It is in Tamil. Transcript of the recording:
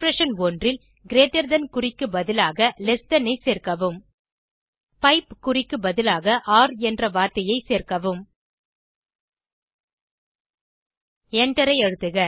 எக்ஸ்பிரஷன் 1 ல் கிரீட்டர் தன் குறிக்கு பதிலாக லெஸ் தன் ஐ சேர்க்கவும் பைப் குறிக்கு பதிலாக ஒர் என்ற வார்த்தையை சேர்க்கவும் எண்டரை அழுத்துக